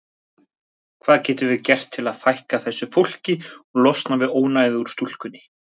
Hvað getum við gert til að fækka þessu fólki og losna við ónæðið úr stúkunni?